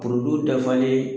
kurudu dafalen